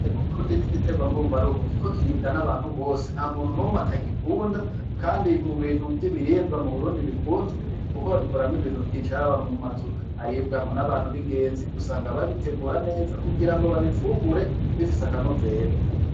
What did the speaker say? Ibirayi mu Burundi nigiterwa mbumbarugo, kuko kiribwa n'abantu bose nta muntu numwe atagikunda kandi mubintu vyibiribwa mu Burundi bikunzwe kuko babikoramwo ibintu vyinshi haba mu mazu aribwamo n’abantu bingenzi usanga babitegura neza kugirango babifungure bifise akanovera.